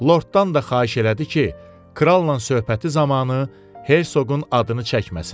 Lorddan da xahiş elədi ki, kralnan söhbəti zamanı Herşoqun adını çəkməsin.